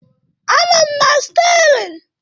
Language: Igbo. Anọ m na stiaring